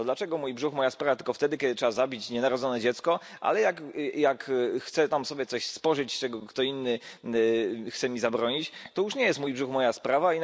To dlaczego mój brzuch, moja sprawa tylko wtedy, kiedy trzeba zabić nienarodzone dziecko, ale jak chcę sobie coś spożyć, czego ktoś inny chce mi zabronić, to już nie jest mój brzuch, moja sprawa.